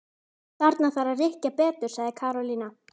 Þarna þarf að rykkja betur sagði Karólína.